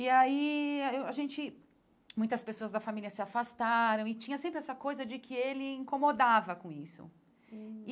E aí, a gente... Muitas pessoas da família se afastaram e tinha sempre essa coisa de que ele incomodava com isso hum.